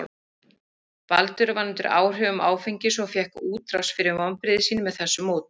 Baldur var undir áhrifum áfengis og fékk útrás fyrir vonbrigði sín með þessu móti.